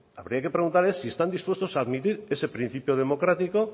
habría que preguntarles si están dispuestos a admitir ese principio democrático